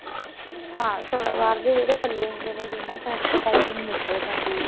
ਹਾਂ ਸਲਵਾਰ ਦੇ ਜਿਹੜੇ ਪੱਲੇ ਹੁੰਦੇ ਨੇ ਦੋਨਾ side ਤੇ ਪਾਈਪਿੰਨ ਨਿਕਲ ਜਾਂਦੀ ਹੈ